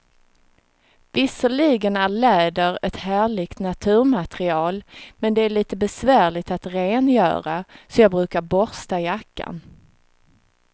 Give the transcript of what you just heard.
Visserligen är läder ett härligt naturmaterial, men det är lite besvärligt att rengöra, så jag brukar borsta jackan.